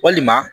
Walima